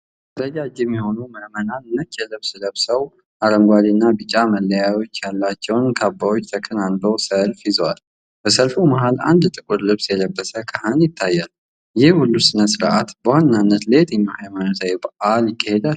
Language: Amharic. ረጃጅም የሆኑ ምእመናን ነጭ ልብስ ለብሰው፣ አረንጓዴና ቢጫ መለያዎች ያሏቸውን ካባዎች ተከናንበው ሰልፍ ይዘዋል። በሰልፉ መሃል አንድ ጥቁር ልብስ የለበሰ ካህን ይታያል። ይህ ሁሉ ሥነ-ሥርዓት በዋናነት ለየትኛው ሃይማኖታዊ በዓል ይካሄዳል?